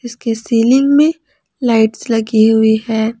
इसके सीलिंग में लाइट्स लगी हुई है।